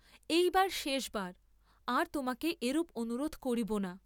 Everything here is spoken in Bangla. এইবার শেষবার, আর তোমাকে এরূপ অনুরোধ করিব না।